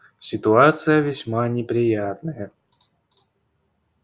ситуация весьма неприятная